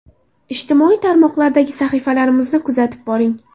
Ijtimoiy tarmoqlardagi sahifalarimizni kuzatib boring.